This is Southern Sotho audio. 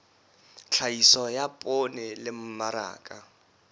tlhahiso ya poone le mmaraka